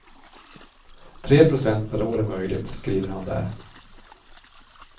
Tre procent per år är möjligt, skriver han där.